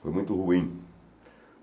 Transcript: Foi muito ruim.